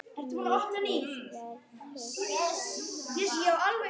Mikill verður sá léttir.